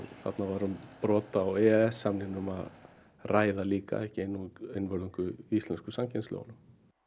þarna var um brot á e e s samningnum að ræða ekki einvörðungu íslensku samkeppnislögunum